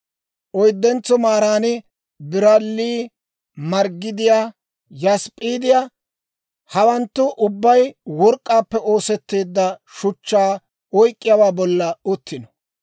oyddentso maaran biralli, marggidiyaa, yasp'p'iidiyaa. Hawanttu ubbay work'k'aappe oosetteedda shuchchaa oyk'k'iyaawaa bolla uttino.